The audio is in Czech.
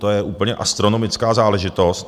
To je úplně astronomická záležitost.